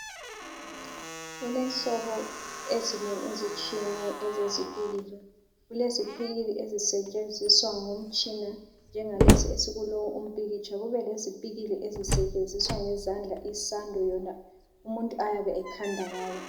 Kulenhlobo ezinengi ezitshiyeneyo ezezipikili. Kulezipikili ezisetshenziswa ngomtshina njengalesi esikulowu umpikitsha kubelezipikili ezisetshenziswa ngezandla isando yona umuntu ayabe ekhanda ngayo.